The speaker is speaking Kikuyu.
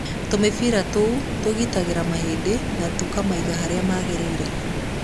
Tũmĩbira tũũ tũgitagĩra mahĩndĩ na kũmaiga harĩa magĩrĩire.